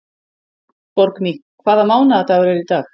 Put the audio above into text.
Borgný, hvaða mánaðardagur er í dag?